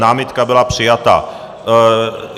Námitka byla přijata.